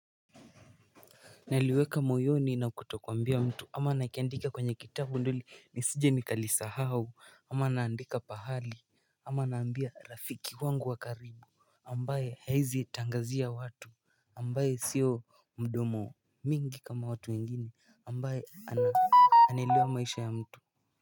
Naliweka moyoni na kutokwambia mtu ama nakiandika kwenye kitabu ndo ni sije nikalisahau ama naandika pahali ama naambia rafiki wangu wakaribu ambaye haezi tangazia watu ambaye sio mdomo mingi kama watu wengine ambaye anaelewa maisha ya mtu.